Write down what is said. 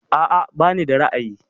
A'a bani da ra'ayi.